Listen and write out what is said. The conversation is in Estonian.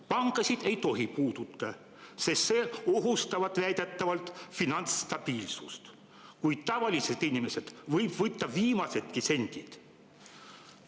Panku ei tohi puutuda, sest see ohustavat väidetavalt finantsstabiilsust, kuid tavaliselt inimeselt võib võtta viimasedki sendid.